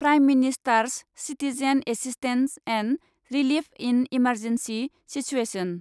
prime minister's citizen assistance and relief in emergency situation